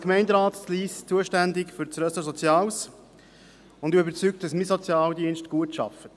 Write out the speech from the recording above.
Als Gemeinderat in Lyss bin ich zuständig für das Ressort Soziales und davon überzeugt, dass mein Sozialdienst gut arbeitet.